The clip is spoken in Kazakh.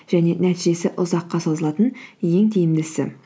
және нәтижесі ұзаққа созылатын ең тиімдісі